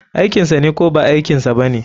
Aikinsane ko ba aikinsa bane?